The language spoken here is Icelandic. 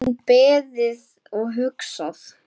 Enn beðið og hugsað